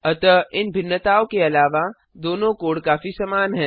अतः इन भिन्नताओं के अलावा दोनों कोड काफी समान हैं